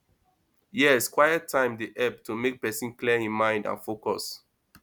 yes quiet time dey help to make pesin clear im mind and focus